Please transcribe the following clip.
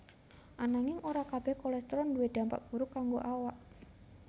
Ananging ora kabéh kolestrol duwé dampak buruk kanggo awak